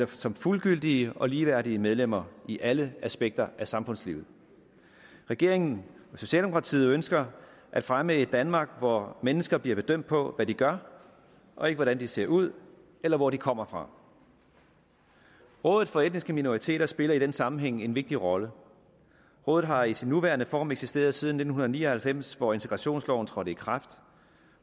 som fuldgyldige og ligeværdige medlemmer i alle aspekter af samfundslivet regeringen og socialdemokratiet ønsker at fremme et danmark hvor mennesker bliver bedømt på hvad de gør og ikke hvordan de ser ud eller hvor de kommer fra rådet for etniske minoriteter spiller i den sammenhæng en vigtig rolle rådet har i sin nuværende form eksisteret siden nitten ni og halvfems hvor integrationsloven trådte i kraft